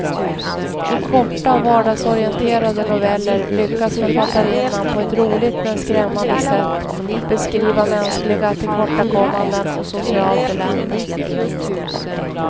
I korta, vardagsorienterade noveller lyckas författarinnan på ett roligt men skrämmande sätt beskriva mänskliga tillkortakommanden och socialt elände.